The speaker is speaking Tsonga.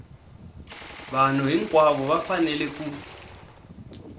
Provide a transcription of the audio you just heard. vanhu hinkwavo va fanele ku